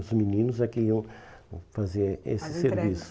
Os meninos é que iam fazer, as entregas, esse serviço.